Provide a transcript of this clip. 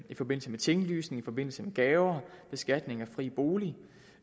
i forbindelse med tinglysning i forbindelse med gaver og beskatning af fri bolig